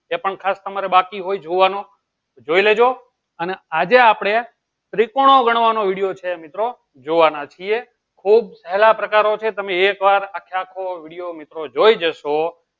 એ પણ ખાસ તમારે બાકી હોય જોવાનો જોઈ લેજો અને આજે આપળે ત્રિકોણ ગણવાનો video આપળે જોવાના છીએ મિત્રો જોવાના છીએ ખુબ હેલા પ્રકારો છે તમે એક વાર આખા આખો video મિત્રો જોય જશો